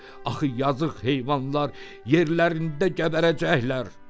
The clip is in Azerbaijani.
Axı yazığ heyvanlar yerlərində gəbərəcəklər.